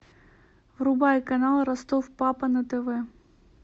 врубай канал ростов папа на тв